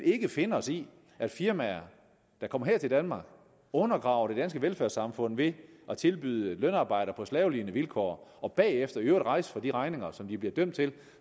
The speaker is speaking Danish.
finde os i at firmaer der kommer her til danmark undergraver det danske velfærdssamfund ved at tilbyde lønarbejde på slavelignende vilkår og bagefter i øvrigt rejse fra de regninger som de bliver dømt til at